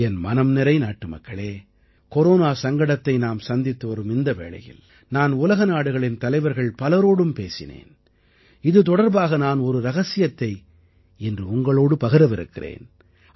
என் மனம்நிறை நாட்டுமக்களே கொரோனா சங்கடத்தை நாம் சந்தித்து வரும் இந்த வேளையில் நான் உலகநாடுகளின் தலைவர்கள் பலரோடும் பேசினேன் இது தொடர்பாக நான் ஒரு இரகசியத்தை இன்று உங்களோடு பகிரவிருக்கிறேன்